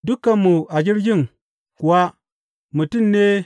Dukanmu a jirgin kuwa mutane ne.